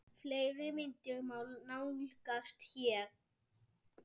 Fleiri myndir má nálgast hér